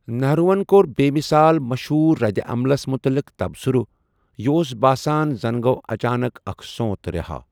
نہروُ ہن کوٚر بے مثال مَشہوٗر ردِعملس متعلق تبصُرٕ، 'یہٕ اوس باسان زَن گوٚو اچانک اكھ سون٘تھ رہا' ۔